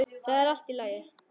Það er allt í lagi.